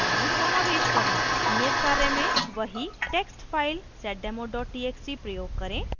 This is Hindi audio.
नियत कार्य में वही text file seddemo txt प्रयोग करें